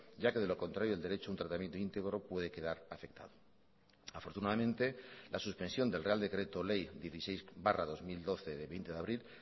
ya que de lo contrario el derecho a un tratamiento íntegro puede quedar afectado afortunadamente la suspensión del real decreto ley dieciséis barra dos mil doce de veinte de abril